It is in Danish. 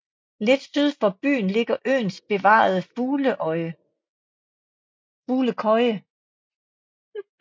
Lidt syd for byen ligger øens bevarede fuglekøje